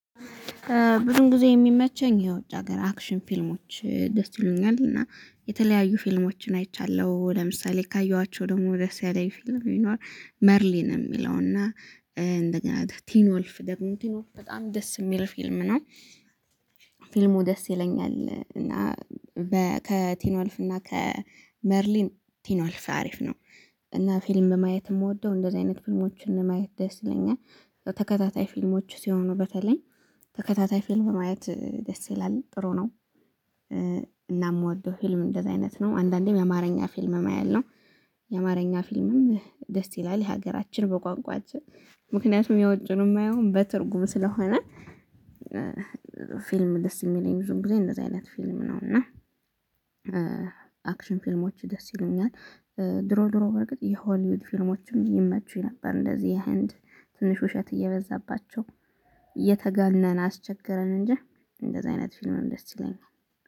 ብዙ ጊዜ የሚመቸኝ የውጭ ሀገር አክሽን ፊልሞች ደስ ይሉኛል እና የተለያዩ ፊልሞችን አይቻለሁ ለምሳሌ ካየኋቸው ደግሞ ደስ ያለ ፊልም በይኖር መርሊን የሚለው እና እንደገና ቲን ወልፍ ደግሞ ቲን ወልፍ በጣም ደስ የሚል ፊልም ነው። ፊልሙ ደስ ይለኛል እና ከቲ ዎኖልፍ እና ከመርሊን ቲኖልፍ አሪፍ ነው። እና ፊልም ማየት የምወደው እንደዚህ አይነት ፊልሞችን ማየት ደስ ይለኛል። ተከታታይ ፊልሞች ውስጥ የሆኑ በተለይ ተከታታይ ፊልም ማየት ደስ ይላል ጥሩ ነው። እና የምወደው ፊልም እንደዚህ አይነት ነው አንዳንዴም የአማርኛ ፊልምም አያልነው የአማርኛ ፊልምም ደስ ይላል የሀገራችን በቋንቋችን ምክንያቱም የውጩን የማየው በትርጉም ስለሆነ። ፊልም ደስ የሚለኝ ብዙ ጊዜ እንደዚህ አይነት ፊልም ነው እና። አክሽን ፊልሞች ደስ ይሉኛል። ድሮ ድሮ በርግጥ የሆሊውድ ፊልሞችም ይመቹኝ ነበር። እንደዚህ የህንድ ትንሽ ውሸት እየበዛባቸው እየተገነነ አስቸገረን እንጂ እንደዚህ አይነት ፊልምም ደስ ይለኛል